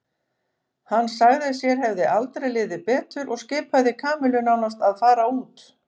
Hann sagði að sér hefði aldrei liðið betur og skipaði Kamillu nánast að fara út.